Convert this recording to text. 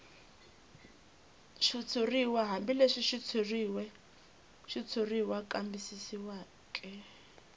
xitshuriw hambileswi xitshuriwa kambisisiweke